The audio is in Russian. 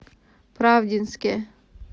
правдинске